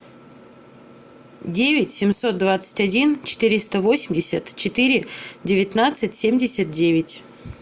девять семьсот двадцать один четыреста восемьдесят четыре девятнадцать семьдесят девять